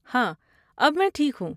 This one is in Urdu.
ہاں، اب میں ٹھیک ہوں۔